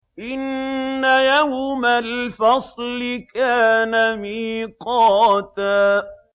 إِنَّ يَوْمَ الْفَصْلِ كَانَ مِيقَاتًا